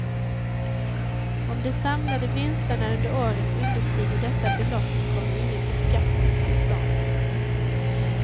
Om de samlade vinsterna under året understiger detta belopp kommer ingen beskattning till stånd.